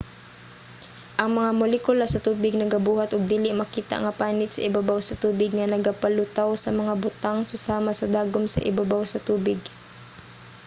ang mga molekula sa tubig nagabuhat og dili makita nga panit sa ibabaw sa tubig nga nagapalutaw sa mga butang susama sa dagom sa ibabaw sa tubig